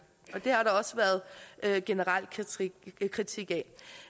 det har der også været en generel kritik af